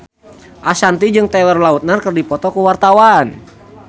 Ashanti jeung Taylor Lautner keur dipoto ku wartawan